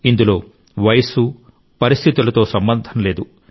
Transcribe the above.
ఇందులో వయస్సు పరిస్థితులతో సంబంధం లేదు